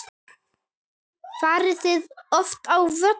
Farið þið oft á völlinn?